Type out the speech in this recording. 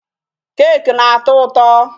Cake na-atọ ụtọ.